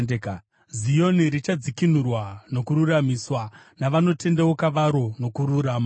Zioni richadzikinurwa nokururamiswa, navanotendeuka varo, nokururama.